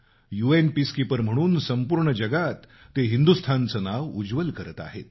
UN peacekeeper म्हणून संपूर्ण जगात ते हिंदुस्थानचं नाव उज्वल करत आहेत